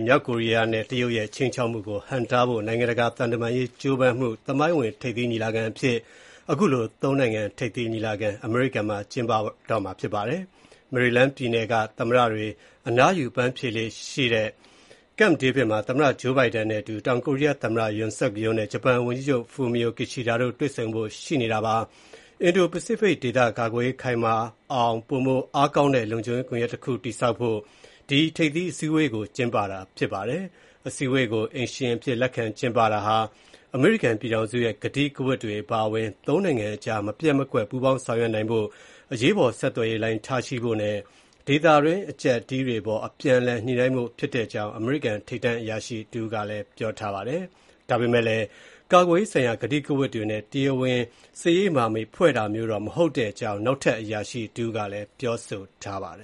မြောက်ကိုရီးယားနဲ့ တရုတ်ရဲ့ ခြိမ်းခြောက်မှုကို ဟန့်တားဖို့ နိုင်ငံတကာ သံတမန်ရေး ကြိုးပမ်းမှု သမိုင်းဝင် ထိပ်သီးညီလာခံအဖြစ် ဒီနေ့ အမေရိကန်ပြည်ထောင်စု၊ တောင်ကိုရီးယားနဲ့ ဂျပန် သုံးနိုင်ငံ ထိပ်သီးညီလာခံ အမေရိကန်မှာ ကျင်းပပါတယ်။ မေရီလန်းပြည်နယ်က သမ္မတတွေ အနားယူ အပန်းဖြေလေ့ရှိတဲ့ Camp David မှာ သမ္မတ Joe Biden နဲ့အတူ တောင်ကိုရီးယား သမ္မတ Yoon Suk Yeol နဲ့ ဂျပန်ဝန်ကြီးချုပ် Fumio Kishida တို့ တွေ့ဆုံကြတာပါ။ အင်ဒိုပစိဖိတ်ဒေသကာကွယ်ရေး ခိုင်မာအောင် ပိုမိုအားကောင်းတဲ့ လုံခြုံရေး ကွန်ယက်တခု တည်ဆောက်ဖို့ ဒီ ထိပ်သီးအစည်းအဝေးကို ကျင်းပတာဖြစ်ပါတယ်။ အစည်းအဝေးကို အိမ်ရှင်အဖြစ် လက်ခံကျင်းပတာဟာ အမေရိကန်ပြည်ထောင်စုရဲ့ ကတိကဝတ်တွေ အပါအဝင် သုံးနိုင်ငံအကြား မပျက်မကွက် ပူးပေါင်းဆောင်ရွက်နိုင်ဖို့၊ အရေးပေါ် ဆက်သွယ်ရေးလိုင်း ထားရှိဖို့နဲ့ ဒေသတွင်း အကျပ်အတည်းတွေအပေါ် အပြန်အလှန် ညှိ့နိုင်းဖို့ ဖြစ်တဲ့အကြောင်း အမေရိကန် ထိပ်တန်း အရာရှိတဦးက ပြောပါတယ်။ ဒါပေမဲ့လည်း ကာကွယ်ရေးဆိုင်ရာ ကတိကဝတ်တွေနဲ့ တရားဝင် စစ်ရေးမဟာမိတ်ဖွဲ့တာမျိုး တော့ မဟုတ်တဲ့အကြောင်း နောက်ထပ် အရာရှိတဦးကလည်း ပြောဆိုပါတယ